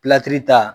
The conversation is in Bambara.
ta